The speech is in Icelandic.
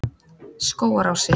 Skógarási